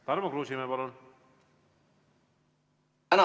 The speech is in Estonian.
Tarmo Kruusimäe, palun!